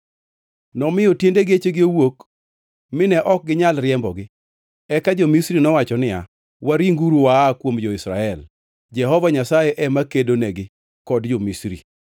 Nomiyo tiende gechegi owuok mine ok ginyal riembogi. Eka jo-Misri nowacho niya, “Waringuru waa kuom jo-Israel! Jehova Nyasaye ema kedonegi kod jo-Misri.”